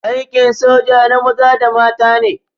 Aikin soja na maza da mata ne.